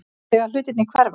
Þegar hlutirnir hverfa